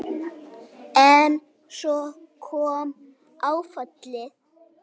En þá kom áfallið.